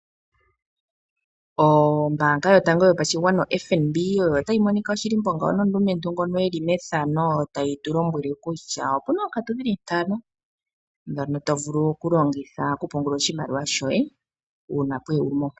Ombanga yotango yopashigwana oFNB oyo tayi monika oshilimbo ngawo nomulumentu ngono e li methano tali tulombwele kutya opu na oonkantu dhili ntano dhono to vulu okulongitha okupungula oshimaliwa shoye.